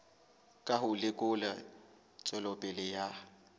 ka ho lekola tswelopele ya